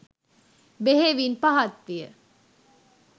බෙහෙවින් පහත් විය.